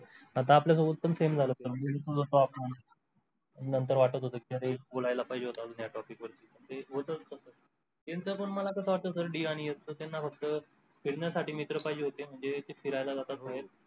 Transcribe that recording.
आता आपल्या सोबत पण same झाल असत निऊन ठेवल असत आपुण नंतर वाटत होत की अरे बोलायला पाहिजे होत अजून network गीटवर issue ते होतच तस यांच मला कस वाटत sir आणि s च त्यांना फक्त फिरण्यासाठी मित्र पहिजे होते म्हणजे ते फिऱ्याला जातात थोडे